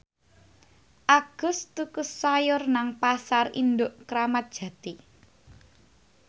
Agus tuku sayur nang Pasar Induk Kramat Jati